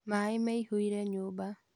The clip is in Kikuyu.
Maĩ mĩihũire nyumba